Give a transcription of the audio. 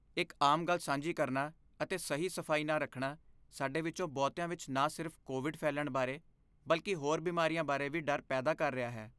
ਇੱਕ ਆਮ ਗੱਲ ਸਾਂਝੀ ਕਰਨਾ ਅਤੇ ਸਹੀ ਸਫਾਈ ਨਾ ਰੱਖਣਾ ਸਾਡੇ ਵਿੱਚੋਂ ਬਹੁਤਿਆਂ ਵਿੱਚ ਨਾ ਸਿਰਫ ਕੋਵਿਡ ਫੈਲਣ ਬਾਰੇ, ਬਲਕਿ ਹੋਰ ਬਿਮਾਰੀਆਂ ਬਾਰੇ ਵੀ ਡਰ ਪੈਦਾ ਕਰ ਰਿਹਾ ਹੈ।